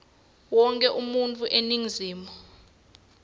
wonkhe umuntfu eningizimu